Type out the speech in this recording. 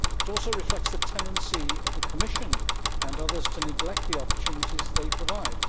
It also reflects the tendency of the Commission and others to neglect the opportunities that they provide.